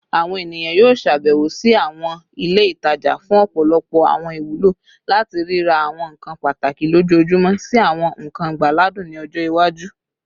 Awọn eniyan yoo ṣabẹwo si awọn ile itaja fun ọpọlọpọ awọn iwulo, lati rira awọn nkan pataki lojoojumọ si awọn nkan igbadun ni ọjọ iwaju